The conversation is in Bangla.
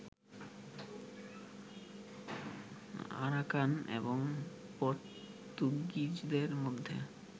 আরাকান এবং পর্তুগিজদের মধ্যে